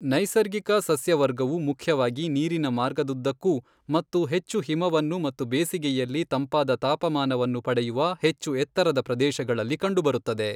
ನೈಸರ್ಗಿಕ ಸಸ್ಯವರ್ಗವು ಮುಖ್ಯವಾಗಿ ನೀರಿನ ಮಾರ್ಗದುದ್ದಕ್ಕೂ ಮತ್ತು ಹೆಚ್ಚು ಹಿಮವನ್ನು ಮತ್ತು ಬೇಸಿಗೆಯಲ್ಲಿ ತಂಪಾದ ತಾಪಮಾನವನ್ನು ಪಡೆಯುವ ಹೆಚ್ಚು ಎತ್ತರದ ಪ್ರದೇಶಗಳಲ್ಲಿ ಕಂಡುಬರುತ್ತದೆ.